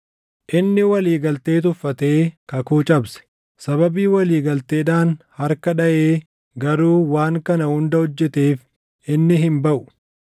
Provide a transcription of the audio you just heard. Inni walii galtee tuffatee kakuu cabse. Sababii walii galteedhaan harka dhaʼee garuu waan kana hunda hojjeteef inni hin baʼu.